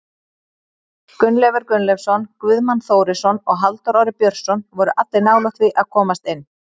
Gunnleifur Gunnleifsson, Guðmann Þórisson og Halldór Orri Björnsson voru allir nálægt því að komast inn.